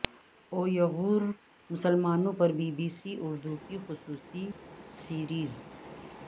Uyghur مسلمانوں پر B B C Urdu کی خصوصی سیریز